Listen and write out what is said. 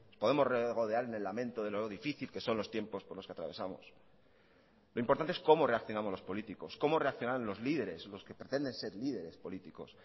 podemos regodearnos en el lamento de lo difícil que son los tiempos por los que atravesamos lo importante es cómo reaccionamos los políticos cómo reaccionarán los líderes los que pretenden ser líderes políticos